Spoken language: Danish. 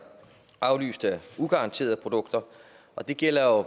afløst af ugaranterede produkter og det gælder jo